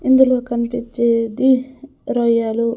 ఇందులో కన్పిచ్చేది రొయ్యలు.